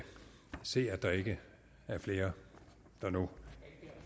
se at der ikke er flere der nu